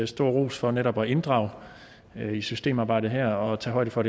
stor ros for netop at inddrage i systemarbejdet her og tage højde for